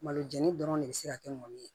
Malo jɛni dɔrɔn de be se ka kɛ mɔni ye